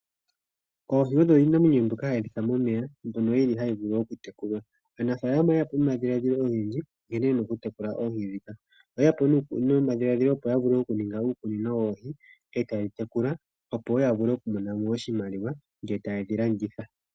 Oohi iinamwenyo ndjoka hayi kala momeya ndhoka hadhi vulu okutekulwa, aanafalama oyeya po nomikalo odhindji dhokutekula oohi ndhika oyeya po nomadhiladhilo gokuninga uukunino woohi etaye dhitekula yo yiimonene oshimaliwa ngele yedhi landithepo.